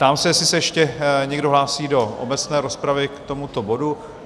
Ptám se, jestli se ještě někdo hlásí do obecné rozpravy k tomuto bodu?